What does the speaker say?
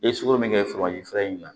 I ye sukoro min kɛ in na